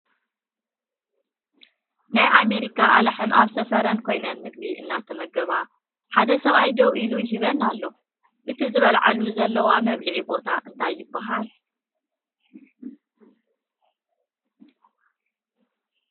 ናይ ኣሜሪካ ኣላሕም ኣብ ሰፈረን ኮይነን ምግቢ እናተመገባ ሓደ ሰብኣይ ደዉ ኢሉ ይህበን ኣሎ። እቲ ዝበልዓሉ ዘለዋ መብልዒ ቦታ እንታይ ይበሃል?